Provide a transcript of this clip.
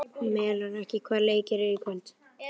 Melrakki, hvaða leikir eru í kvöld?